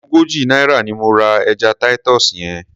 Ogójì náírà ni mo ra ẹja Titus yẹn.